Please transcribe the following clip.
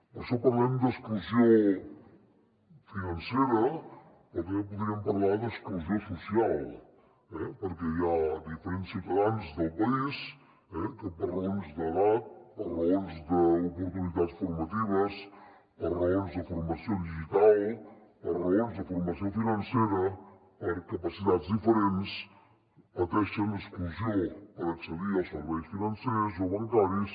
per això parlem d’exclusió financera però també podríem parlar d’exclusió social perquè hi ha diferents ciutadans del país que per raons d’edat per raons d’oportunitats formatives per raons de formació digital per raons de formació financera per capacitats diferents pateixen exclusió per accedir als serveis financers o bancaris